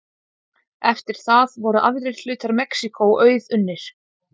Eftir það voru aðrir hlutar Mexíkó auðunnir.